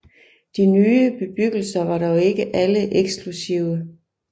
De nye bebyggelser var dog ikke alle eksklusive